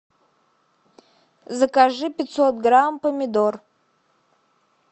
закажи пятьсот грамм помидор